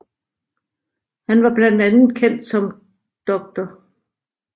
Han var blandt andet kendt som Dr